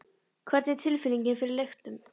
Hvernig er tilfinningin fyrir leiknum?